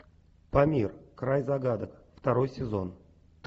памир край загадок второй сезон